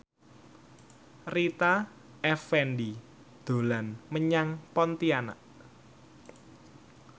Rita Effendy dolan menyang Pontianak